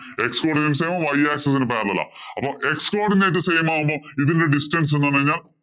X codinates y axis ഇന് parallel ആ. അപ്പൊ x codinates same ആകുമ്പോ ഇതിനു ഒരു distance വന്നു കഴിഞ്ഞാ